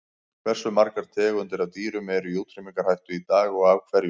Hversu margar tegundir af dýrum eru í útrýmingarhættu í dag og af hverju?